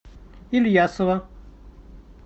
ильясова